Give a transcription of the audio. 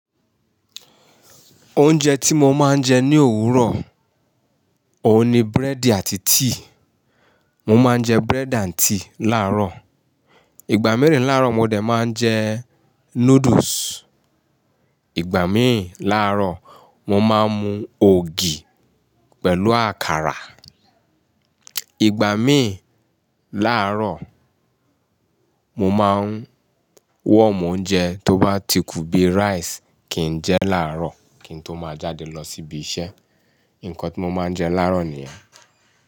Oúnjẹ tí mo máa ń jẹ ní òwúrọ̀, òun ni búrẹ́dì àti tíì. Mo máa ń jẹ búrẹ́dì àti tíì láàárọ̀. Ìgbà mẹ́rin láàárọ̀, mo dẹ̀ máa ń jẹ noodles. Ìgbà míì láàárọ̀, mo máa ń mu ògì pẹ̀lú àkàrà. Ìgbà míì láàárọ̀, mo máa ń wọ̀mọ́ oúnjẹ tó bá ti kù bíi rice kí n jẹ láàárọ̀ kí n tó máa jáde lọ síbi iṣẹ́. Nǹkan tí mo máa ń jẹ láàárọ̀ nìyẹn.